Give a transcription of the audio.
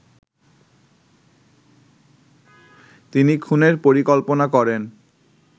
তিনি খুনের পরিকল্পনা করেন